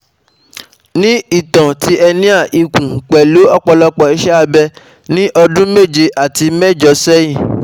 Ni ìtàn ti hernia ikùn, pẹ̀lú òpọlọpọ̀ ise abe ní ọdún méje sí méjọ sẹ́yìn